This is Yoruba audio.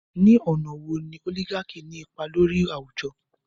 Ní àwọn ọ̀nà wo ni oligarchy ní ipa lórí àwùjọ?